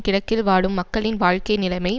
கிழக்கில் வாழும் மக்களின் வாழ்க்கை நிலைமை